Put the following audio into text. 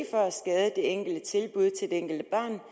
for at skade det enkelte tilbud til det enkelte barn